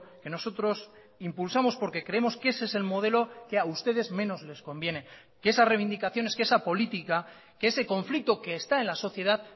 que nosotros impulsamos porque creemos que ese es el modelo que a ustedes menos les conviene que esas reivindicaciones que esa política que ese conflicto que está en la sociedad